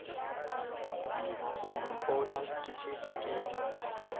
go mpona ke šetše ke